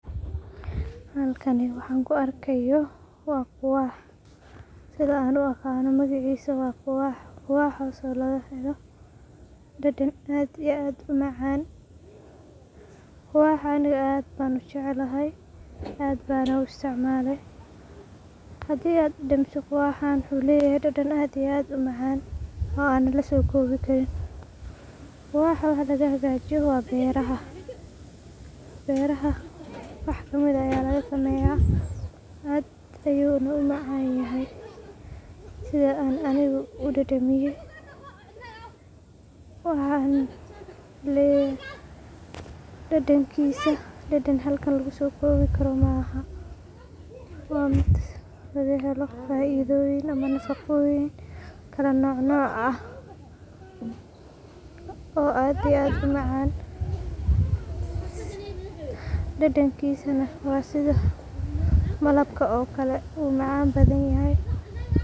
Halkaani waxa aan kuu arkayo waa quwax sida aan uaqano magacisa waa quwax quwaxaso laga helo dhadhan aad iyo aad u macan quwaxa aniga aad ban ujeclahay aad bana uu isticmale hadii aad dhadhamiso quwaxan wuxu leyahay dhadhan aad iyo aad uu macan oo ana lasoo kowii karin quwaxa waxa laga hagajiiyo wa beraha beraha wax kamid aah aya laga sameya aad ayuna uu macan yahay sida an aniga uu dhadhamiye waxan leyahay dhadhankisa dhadhan halkan laguu so kobi karoo maaha waa mid laga helo faidoyin ama nafaqoyin kala noc noc aah oo aad iyo aad uu macan dhadhankisana waa sidaa malabka okalee wuu macan badan yahay.